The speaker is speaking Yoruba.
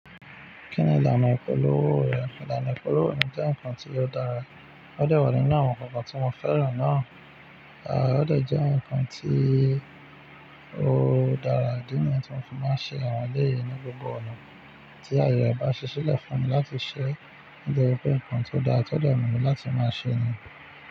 Kí ni ìlànà ìpolówó rẹ̀? Ìlànà ìpolówó mi jẹ́ nǹkan tí ó dára. Ó dà wa nínú àwọn nkankan tí mo fẹ́ràn náà. À ó de jẹ́ ǹkan tí ó dára nínú ohun tí mo fi máa ń ṣe àwọn eléyè ní gbogbo ọ̀nà tí ayọ̀ bá ṣisẹ́ lẹ̀ fún mi láti ṣẹ. Ó jẹ́ pé ǹkan tó dára tí ó de mí láti máa ṣé ni.